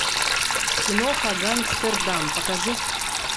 киноха гангстердам покажи